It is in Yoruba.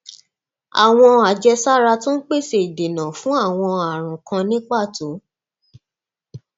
àwọn àjẹsára tó ń pèsè ìdènà fún àwọn ààrùn kan ní pàtó